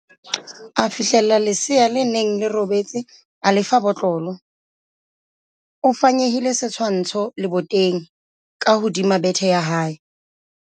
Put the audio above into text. a fihlella lesea le neng le robetse a le fa botlolo, o fanyehile setshwansho leboteng ka hodima bethe ya hae